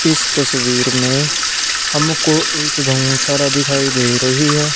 इस तस्वीर में हमको एक गव सारा दिखाई दे रही है।